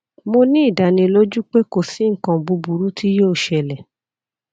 mo ni idaniloju pe ko si nkan buburu ti yoo ṣẹlẹ